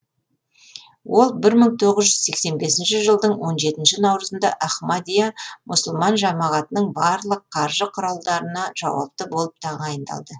ол бір мың тоғыз жүз сексен бесінші жылдың он жетіінші наурызында ахмадия мұсылман жамағатының барлық қаржы құралдарына жауапты болып тағайындалды